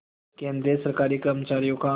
केंद्रीय सरकारी कर्मचारियों का